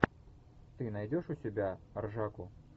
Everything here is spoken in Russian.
ты найдешь у себя ржаку